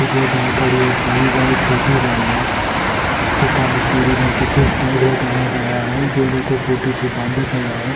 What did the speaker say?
दो गाय कड़ी है एक छोटी गाय और एक बड़ी गाय कड़ी है जिस के कांड में कुछ पिले रंग की कुछ--